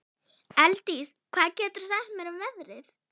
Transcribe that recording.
Elddís, hvað geturðu sagt mér um veðrið?